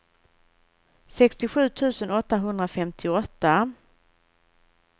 sextiosju tusen åttahundrafemtioåtta